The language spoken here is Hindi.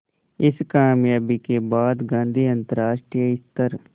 इस क़ामयाबी के बाद गांधी अंतरराष्ट्रीय स्तर